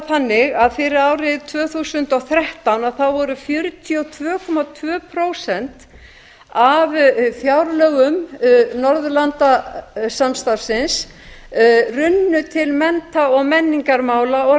þannig að fyrir árið tvö þúsund og þrettán runnu fjörutíu og tvö komma tvö prósent af fjárlögum norðurlandasamstarfsins til mennta og menningarmála og